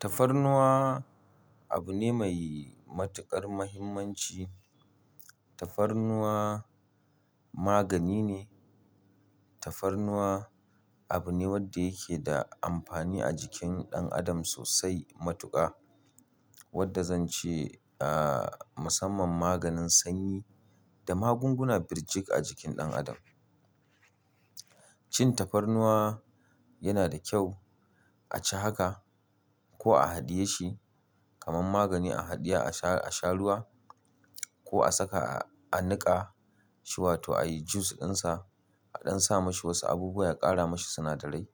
Tafarnuwa abu ne mai matuƙar muhimmanci. Tafarnuwa magani ne. Tafarnuwa abu ne wanda yake da amfani a jikin ɗan adam sosai matuƙa. Wanda zan ce, a, musamman maganin sanyi da magunguna birjik a jikin ɗan adam. Cin tafarnuwa yana da kyau. A ci haka ko a haɗiye shi kamar magani a haɗiye, a sha, a sha ruwa ko a saka a niƙa shi wato a yi jus ɗinsa a ɗan sa mashi wasu abubuwa, a ƙara mashi sinadarai.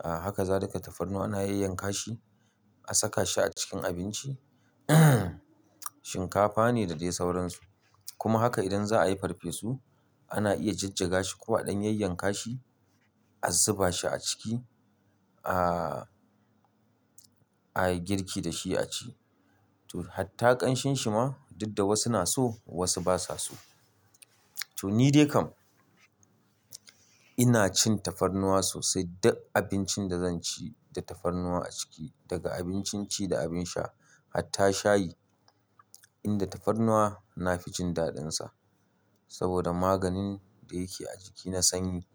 A haka za duka tafarnuwa ana yanyanka shi, a saka shi a cikin abinci. Shinkafa ne da dai sauransu. Kuma haka idan za a yi farfesu ana iya jajjaga shi ko a ɗan yanyanka shi, a zuba shi a ciki, a, a yi girki da shi a ci. To, hatta ƙanshin shi ma duk da wasu na so wasu ba sa so. To ni dai kam ina cin tafarnuwa sosai duk abincin da zan ci da tafarnuwa a ciki daga abincin ci da abin sha hatta shayi. Inda tafarnuwa na fi jin daɗin sa saboda maganin da yake a jiki na sanyi.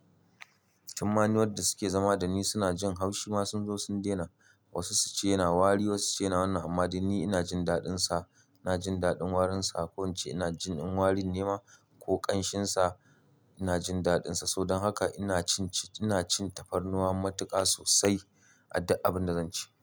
Tun ma ni wadda suke zama da ni suna jin haushi ma sun zo sun daina. Wasu su ce yana wari wasu ce yana wannan amma dai ni ina jin daɗin sa. Ina jin daɗin warin sa. Ko in ce ina jin in warin nema ko ƙanshin sa ina jin daɗin sa. Saboda haka ina cin ci-- ina cin tafarnuwa matuƙa sosai a duk abin da zan ci.